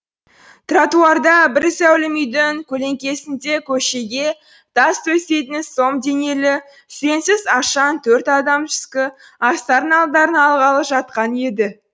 тротуарда бір зәулім үйдің көлеңкесінде көшеге тас төсейтін сом денелі сүреңсіз ашаң төрт адам түскі астарын алдарына алғалы жатқан еді